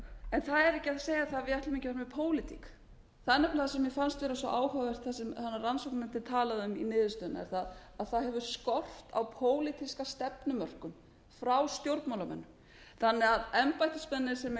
en það er ekki hægt að segja að við ætlum að gera það með pólitík það er nefnilega það sem mér fannst vera svo áhugavert sem rannsóknarnefndin talaði um í niðurstöðunni er að það hefur skort á pólitíska stefnumörkun frá stjórnmálamönnum þannig að embættismenn sem